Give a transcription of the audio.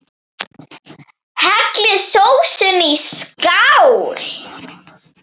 Hellið sósunni í skál.